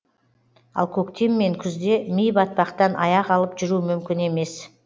ал көктем мен күзде ми батпақтан аяқ алып жүру мүмкін емес